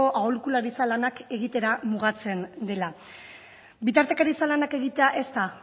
aholkularitza lanak egitera mugatzen dela bitartekaritza lanak egitea ez da